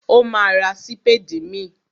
Ó ma ra sípédì míì.